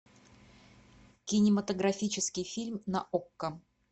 кинематографический фильм на окко